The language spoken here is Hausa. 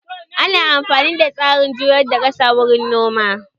Ana amfani da tsarin juyar da kasa wurin noma